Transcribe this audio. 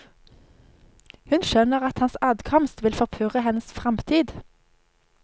Hun skjønner at hans adkomst vil forpurre hennes fremtid.